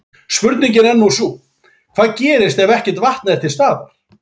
Spurningin er nú sú, hvað gerist ef ekkert vatn er til staðar?